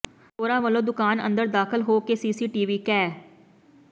ਚੋਰਾਂ ਵਲੋਂ ਦੁਕਾਨ ਅੰਦਰ ਦਾਖਲ ਹੋ ਕੇ ਸੀਸੀਟੀਵੀ ਕੈ